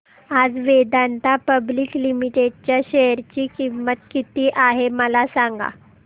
आज Vedanta public limited च्या share ची किंमत किती आहे मला सांगा